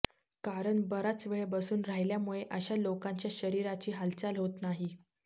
कारण बराचवेळ बसून राहील्यामुळे अशा लोकांच्या शरीराची हालचाल होत नाही